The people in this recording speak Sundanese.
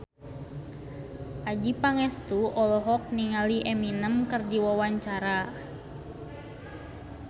Adjie Pangestu olohok ningali Eminem keur diwawancara